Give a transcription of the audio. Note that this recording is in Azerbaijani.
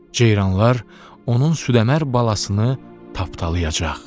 Ceyranlar onun südəmər balasını tapdalayacaq.